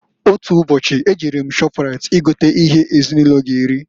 Otu ubochi, e jere m Shọprait I gota ihe ezinụlọ g'eri.